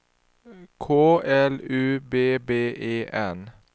K L U B B E N